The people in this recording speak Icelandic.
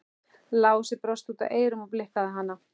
Lási brosti út að eyrum og blikkaði hana.